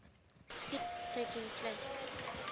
skit taking place